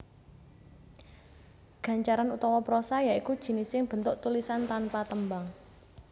Gancaran utawa prosa ya iku jinising bentuk tulisan tanpa tembang